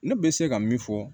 Ne bɛ se ka min fɔ